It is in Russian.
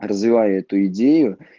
развивая эту идею